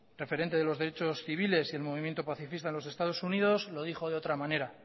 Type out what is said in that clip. referente de los derechos civiles y el movimiento pacifista en los estados unidos lo dijo de otra manera